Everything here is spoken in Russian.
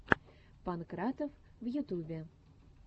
панкратов в ютубе